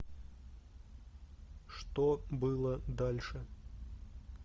что было дальше